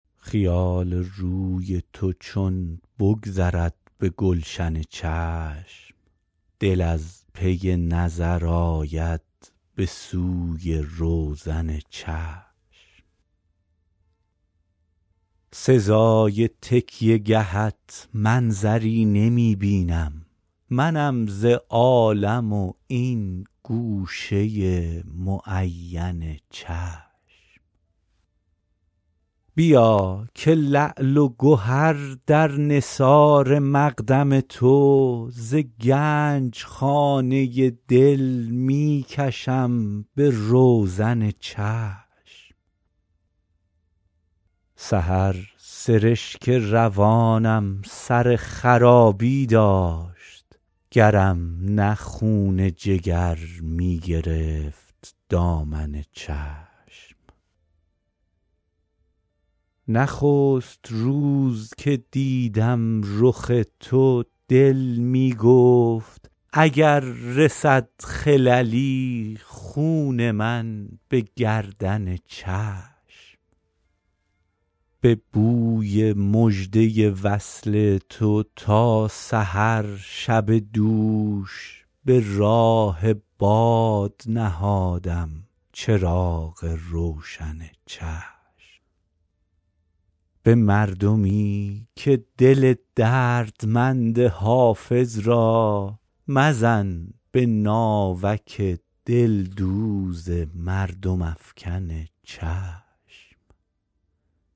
خیال روی تو چون بگذرد به گلشن چشم دل از پی نظر آید به سوی روزن چشم سزای تکیه گهت منظری نمی بینم منم ز عالم و این گوشه معین چشم بیا که لعل و گهر در نثار مقدم تو ز گنج خانه دل می کشم به روزن چشم سحر سرشک روانم سر خرابی داشت گرم نه خون جگر می گرفت دامن چشم نخست روز که دیدم رخ تو دل می گفت اگر رسد خللی خون من به گردن چشم به بوی مژده وصل تو تا سحر شب دوش به راه باد نهادم چراغ روشن چشم به مردمی که دل دردمند حافظ را مزن به ناوک دلدوز مردم افکن چشم